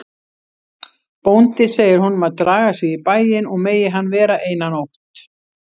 Bóndi segir honum að draga sig í bæinn og megi hann vera eina nótt.